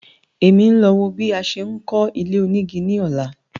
Èmi ń lọ wo bí a ṣe ń kọ́ ilé-onígi ní ọ̀la